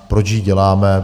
Proč ji děláme?